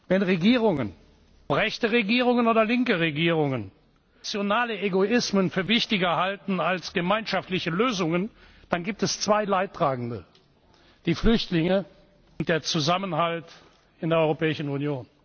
Wenn Regierungen, ob rechte Regierungen oder linke Regierungen, nationale Egoismen für wichtiger halten als gemeinschaftliche Lösungen, dann es gibt zwei Leidtragende die Flüchtlinge und den Zusammenhalt in der Europäischen Union.